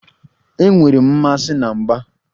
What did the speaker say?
Enwere m mmasị na mgba.